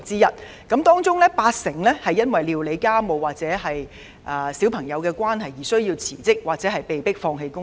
在這些女性當中，佔了八成人是因為須料理家務或照顧小孩而要辭職或被迫放棄工作。